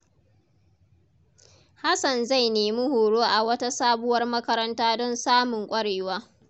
Hassan zai nemi horo a wata sabuwar makaranta don samun kwarewa.